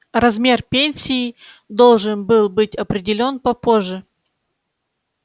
размер пенсии должен был быть определён попозже